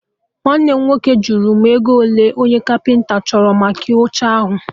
Nwanne m nwoke jụrụ m ego ole onye Kapịnta chọrọ maka oche ahụ